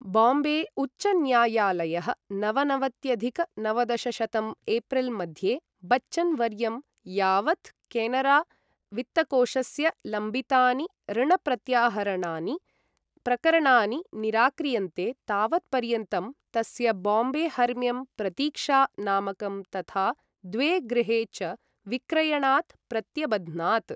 बाम्बे उच्चन्यायालयः, नवनवत्यधिक नवदशशतं एप्रिल् मध्ये बच्चन् वर्यं, यावत् केनरा वित्तकोशस्य लम्बितानि ऋणप्रत्याहरणानि प्रकरणानि निराक्रियन्ते तावत्पर्यन्तं तस्य बाम्बे हर्म्यं 'प्रतीक्षा' नामकं तथा द्वे गृहे च विक्रयणात् प्रत्यबध्नात्।